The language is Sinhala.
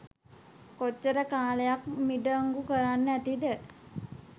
කොච්චර කාලයක් මිඩංගු කරන්න ඇතිද